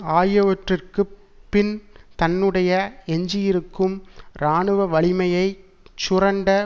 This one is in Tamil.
ஆகியவற்றிற்கு பின் தன்னுடைய எஞ்சியிருக்கும் இராணுவ வலிமையை சுரண்ட